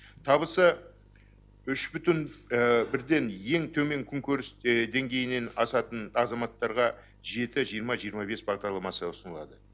табысы үш бүтін бірден ең төмен күнкөріс деңгейінен асатын азаматтарға жеті жиырма жиырма бес бағдарламасы ұсынылады